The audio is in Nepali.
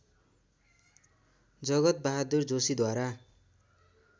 जगतबहादुर जोशीद्वारा